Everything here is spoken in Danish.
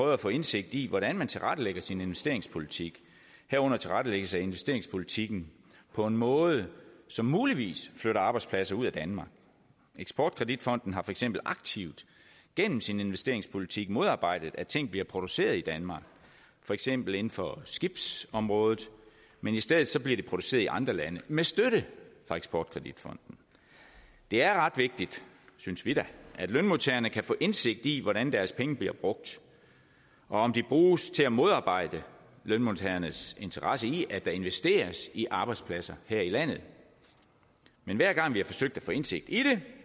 at få indsigt i hvordan man tilrettelægger sin investeringspolitik herunder tilrettelæggelse af investeringspolitikken på en måde som muligvis flytter arbejdspladser ud af danmark eksport kredit fonden har for eksempel aktivt gennem sin investeringspolitik modarbejdet at ting bliver produceret i danmark for eksempel inden for skibsområdet men i stedet bliver det produceret i andre lande med støtte fra eksport kredit fonden det er ret vigtigt synes vi da at lønmodtagerne kan få indsigt i hvordan deres penge bliver brugt og om de bruges til at modarbejde lønmodtagernes interesse i at der investeres i arbejdspladser her i landet men hver gang vi har forsøgt at få indsigt i det